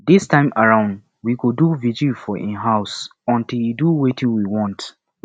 dis time around we go do vigil for im house until he do wetin we want